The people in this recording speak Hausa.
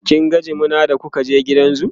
kin ga jimina da kuka je gidan zoo?